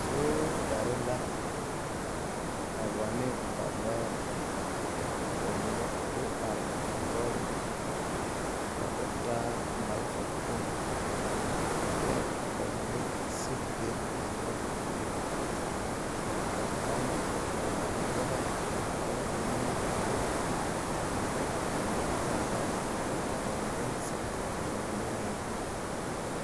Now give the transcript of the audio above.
Soogyare la a wane ba lɔɔre ka ba mine do are a lɔɔre zu ka o taa malfa kpoŋ kyɛ ka ba mine sigi be a lɔɔre pulliŋ ka kaŋ a yele yɛlɛ a korɔ nenbeo ka ba kaara ka ba mine zeŋ ka ba mine meŋ are.